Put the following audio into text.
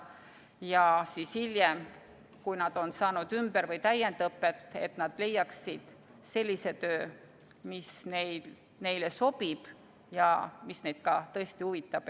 Ja hiljem, kui nad on saanud ümber- või täiendõpet, et nad leiaksid sellise töö, mis neile sobib ja mis neid tõesti huvitab.